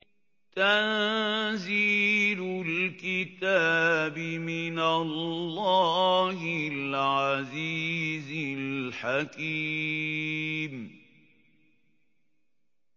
تَنزِيلُ الْكِتَابِ مِنَ اللَّهِ الْعَزِيزِ الْحَكِيمِ